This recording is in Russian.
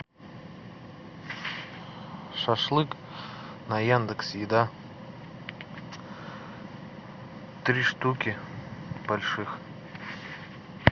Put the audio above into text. шашлык на яндекс еда три штуки больших